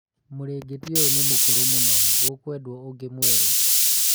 mũrĩngĩti ũyũ nĩ mũkũrũ mũno gũkũendwo ũngĩ mwerũ